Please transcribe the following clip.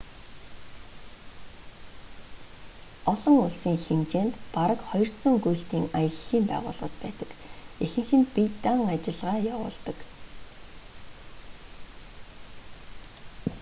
олон улсын хэмжээнд бараг 200 гүйлтийн аяллын байгууллагууд байдаг ихэнх нь бие даан ажиллагаа явуулдаг